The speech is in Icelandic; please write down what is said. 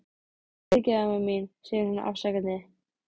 Fyrirgefðu, amma mín, segir hún afsakandi.